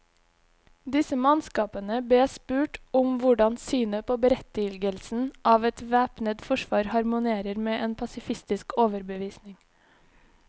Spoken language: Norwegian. Disse mannskapene bes spurt om hvordan synet på berettigelsen av et væpnet forsvar harmonerer med en pasifistisk overbevisning.